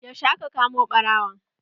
Yaushe aka kama ɓarawon?